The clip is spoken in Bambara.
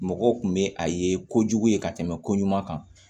Mɔgɔw kun bɛ a ye kojugu ye ka tɛmɛ ko ɲuman kan